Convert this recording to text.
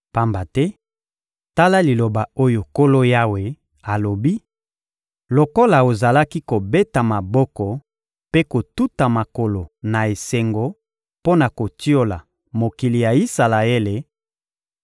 Pamba te, tala liloba oyo Nkolo Yawe alobi: Lokola ozalaki kobeta maboko mpe kotuta makolo na esengo mpo na kotiola mokili ya Isalaele,